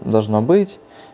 должно быть